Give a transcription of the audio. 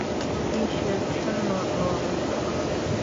ii sheeg shan nooc oo cunto ah